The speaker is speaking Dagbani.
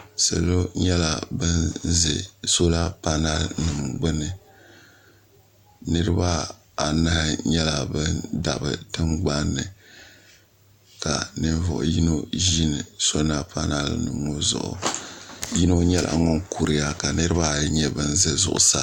Salo nyɛla ban ʒɛ sola panali nima gbini niriba anahi nyɛla ban dabi tingbanni ka ninvuɣu yino ʒini so napona zuɣu yino nyɛla ŋun kuriya ka niriba ayi nyɛ ban za zuɣusaa.